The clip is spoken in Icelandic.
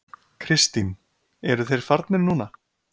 Kristín: Eru þeir farnir núna?